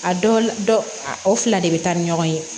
A dɔw la o fila de bɛ taa ni ɲɔgɔn ye